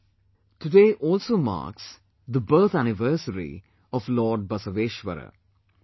Friends, today also marks the birth anniversary of Lord Basaveshwara